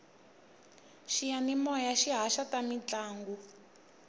xiyanimoya xi haxa ta mintlangu